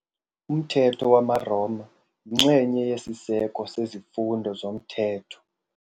Umthetho wamaRoma yinxenye yesiseko sezifundo zomthetho.